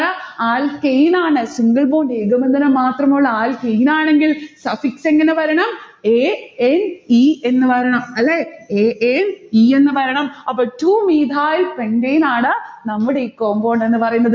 alkane ആണ് single bond ഏകബന്ധനം മാത്രമുള്ള alkane ആണെങ്കിൽ suffix എങ്ങനെ വരണം? ane എന്ന് വരണം. അല്ലെ? ane എന്ന് വരണം. അപ്പോൾ two methyl pentane ആണ് നമ്മുടെ ഈ compound എന്ന് പറയുന്നത്